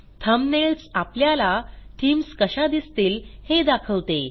thumbnails आपल्याला themes कशा दिसतील हे दाखवते